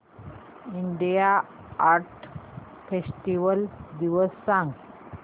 India art festival दिवस सांग